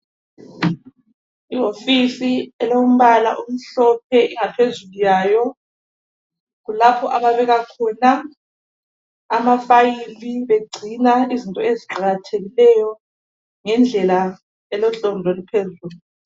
Ihofisi elombala omhlophe, ingaphezulu yayo kulapho ababeka khona amafayili. Begcina izinto eziqakathekileyo ngendlela elohlonzi oluphezulu.